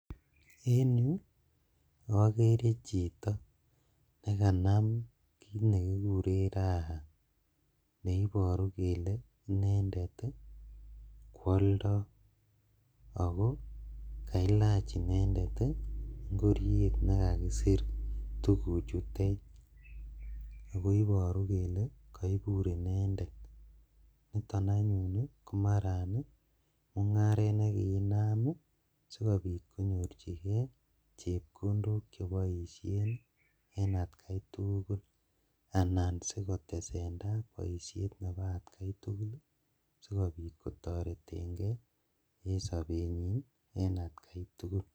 En yuu okeree chito nekanam kiit nekikuren Raha neiboru kelee inendet kwoldo ako kailach inendet ingoriet nekakisir tukuchutet, akoiboru kelee koibur inendet, yuton anyun komaran mung'aret nekiinam sikobit konyorchikee chepkondok cheboishen en atkai tukul anan sikotesentai boishet neboo atkai tukulsikobit kotoreteng'e en sobenyin en atkai tukul.